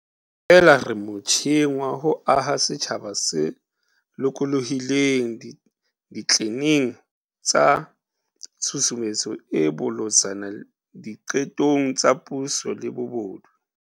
Feela re motjheng wa ho aha setjhaba se lokolohileng ditleneng tsa tshusumetso e bolotsana di qetong tsa puso le bobodu.